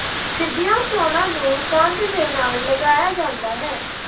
ਸਿੱਧੀਆਂ ਚੋਣਾਂ ਨੂੰ ਕੰਧ ਦੇ ਨਾਲ ਲਗਾਇਆ ਜਾਂਦਾ ਹੈ